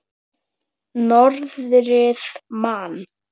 Norðrið man.